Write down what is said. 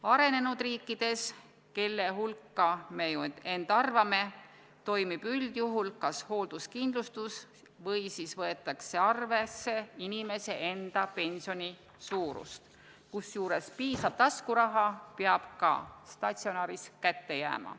Arenenud riikides, kelle hulka me end ju arvame, toimib üldjuhul kas hoolduskindlustus või võetakse arvesse inimese enda pensioni suurust, kusjuures piisav taskuraha peab ka statsionaaris kätte jääma.